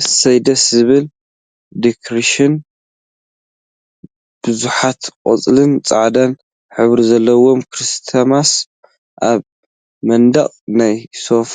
እስይ ደስ ዝብል ዶክሬሽን! ቡዙሓት ቆፃልን ፃዕዳን ሕብሪ ዘለዎም ክሪስማስ አብ መንደቅን ናይ ሶፋ